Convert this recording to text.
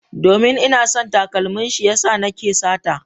Domin ina son takalmin shi ya sa nake sata.